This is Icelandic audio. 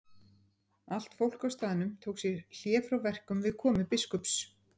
Allt fólk á staðnum tók sér hlé frá verkum við komu biskups.